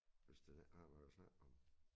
Hvis man ikke har noget at snakke om